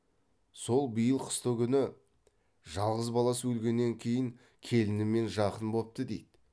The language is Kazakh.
сол биыл қыстыгүні жалғыз баласы өлгеннен кейін келінімен жақын бопты дейді